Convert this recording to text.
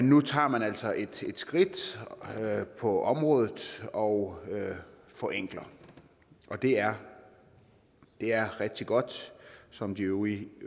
nu tager man altså et skridt på området og forenkler det er er rigtig godt som de øvrige